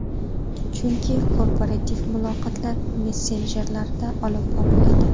Chunki korporativ muloqotlar messenjerlarda olib boriladi.